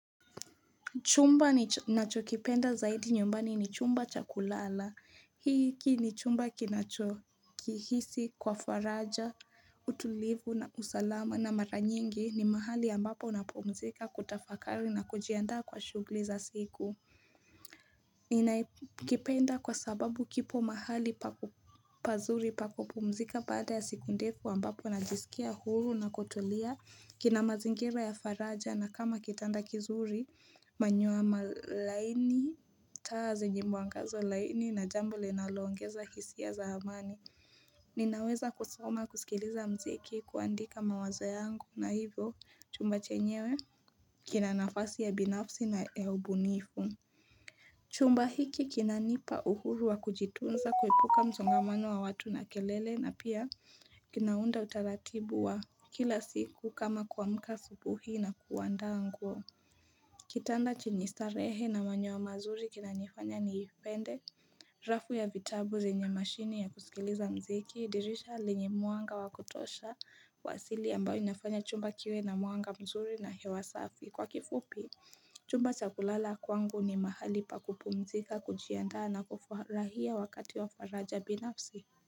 Chumba nacho kipenda zaidi nyumbani ni chumba chakulala, hiki ni chumba kinachokihisi kwa faraja, utulivu na usalama na mara nyingi ni mahali ambapo unapumzika kutafakari na kujiandaa kwa shughli za siku. Ninakipenda kwa sababu kipo mahali pazuri pakupumzika baada ya siku ndefu ambapo najisikia huru na kutulia kina mazingira ya faraja na kama kitanda kizuri manyoya laini taa zenye mwangazo laini na jambo linaloongeza hisia za amani. Ninaweza kusoma kusikiliza mziki kuandika mawazo yangu na hivyo chumba chenyewe kina nafasi ya binafsi na ya ubunifu. Chumba hiki kinanipa uhuru wa kujitunza kuepuka msongamano wa watu na kelele na pia kinaunda utaratibu wa kila siku kama kuamka asubuhi na kuandaa nguo. Kitanda chenye starehe na manyoya mazuri kinanifanya niipende, rafu ya vitabu zenye mashini ya kusikiliza mziki, dirisha lenye mwanga wa kutosha wa asili ambayo inafanya chumba kiwe na mwanga mzuri na hewa safi. Kwa kifupi, chumba cha kulala kwangu ni mahali pa kupumzika, kujiandaa na kufurahia wakati wa faraja binafsi.